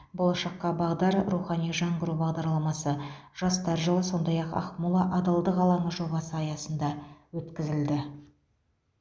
болашаққа бағдар рухани жаңғыру бағдарламасы жастар жылы сондай ақ ақмола адалдық алаңы жобасы аясында өткізілді